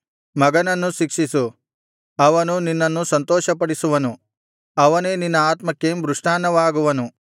ಮಗನನ್ನು ಶಿಕ್ಷಿಸು ಅವನು ನಿನ್ನನ್ನು ಸಂತೋಷಪಡಿಸುವನು ಅವನೇ ನಿನ್ನ ಆತ್ಮಕ್ಕೆ ಮೃಷ್ಟಾನ್ನವಾಗುವನು